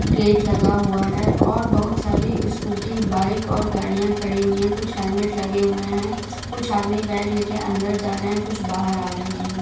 Gate लगा हुआ है और बहुत सारे स्कूटी बाइक और गाड़ियाँ खड़ी हुई हैं कुछ हेलमेट लगे हुए है कुछ आदमी बैग ले कर अंदर जा रहे है कुछ बाहर आ रहे है।